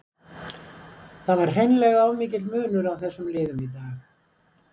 Það var hreinlega of mikill munur á þessum liðum í dag.